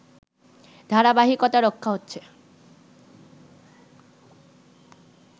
ধারাবাহিকতা রক্ষা হচ্ছে